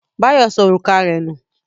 Báyọ̀ sọ òrùka rẹ̀ nù.